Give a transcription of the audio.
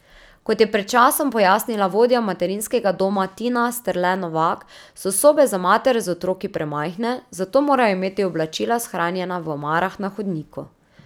Kot je pred časom pojasnila vodja materinskega doma Tina Sterle Novak, so sobe za matere z otroki premajhne, zato morajo imeti oblačila shranjena v omarah na hodniku.